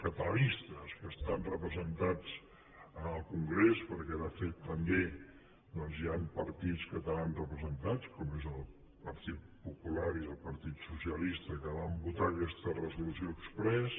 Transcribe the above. catalanistes que estan representats al congrés perquè de fet també doncs hi han partits catalans representats com és el partit popular i el partit socialista que van votar aquesta resolució exprés